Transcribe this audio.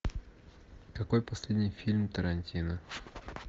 какой последний фильм тарантино